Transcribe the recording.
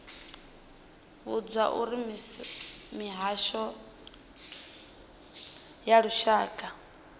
vhudzwa uri mihasho ya lushaka